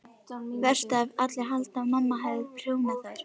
Verst ef allir halda að mamma hafi prjónað þær.